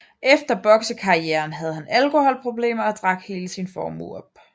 Efter bokserkarrieren havde han alkoholproblemer og drak hele sin formue op